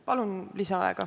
Palun lisaaega!